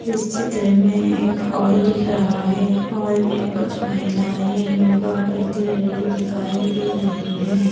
इस चित्र मे एक हॉल दिख रहा है हॉल मे कुछ महिलाए योगा करते हुए दिखाई दे रही है।